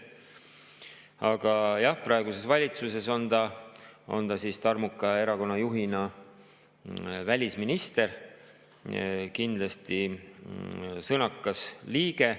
Aga jah, praeguses valitsuses on ta tarmuka erakonnajuhina välisminister, kindlasti sõnakas liige.